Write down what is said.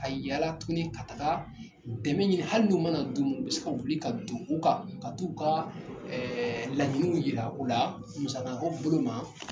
Ka yalala tuguni ka taga dɛmɛ ɲini hali n'u mana d'u ma u bɛ se ka wuli ka don u kan ka t'u ka laɲiniw jira u la musako bolo ma.